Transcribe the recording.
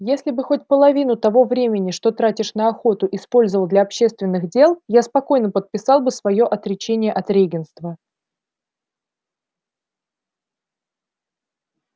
если бы хоть половину того времени что тратишь на охоту использовал для общественных дел я спокойно подписал бы своё отречение от регентства